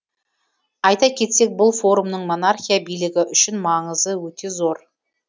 айта кетсек бұл форумның монархия билігі үшін маңызы өте зор